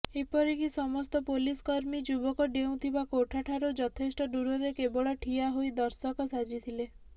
ଏପରିକି ସମସ୍ତ ପୋଲିସ କର୍ମୀ ଯୁବକ ଡେଉଁଥିବା କୋଠାଠାରୁ ଯଥେଷ୍ଟ ଦୂରରେ କେବଳ ଠିଆ ହୋଇ ଦର୍ଶକ ସାଜିଥିଲେ